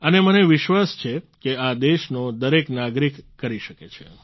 અને મને વિશ્વાસ છે કે આ દેશનો દરેક નાગરિક કરી શકે છે